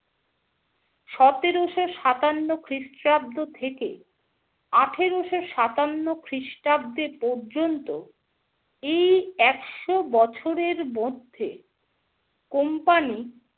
সতেরোশো সাতান্ন খ্রিস্টাব্দ থেকে আঠেরোশো সাতান্ন খ্রিস্টাব্দে পর্যন্ত এই একশো বছরের মধ্যে company